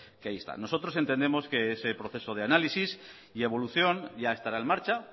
que ahí están nosotros entendemos que ese proceso de análisis y evolución ya estará en marcha